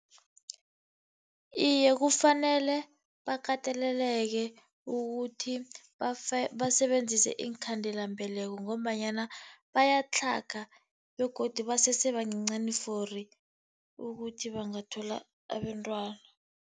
Iye, kufanele bakateleleke ukuthi basebenzise iinkhandelambeleko ngombanyana bayatlhaga begodu basese bancancani for ukuthi bangathola abentwana.